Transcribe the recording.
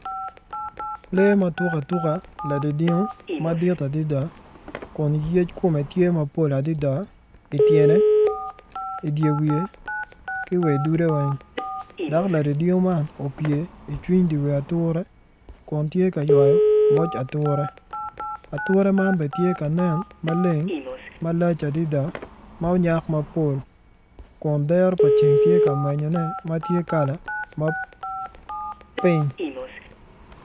Lee ma tuk atuka ladingdingo kun yec kome tye mapol adada i tyene, i dye wiye ki wa i dude weng dok ladingdingo man opye i cwiny dye wiye ature kun tye ka ywayo moc ature ature man bene tye ka nen maleng malac adada ma onyak mapol kun dero pa ceng tye ka menyone kun tye kala ma pink.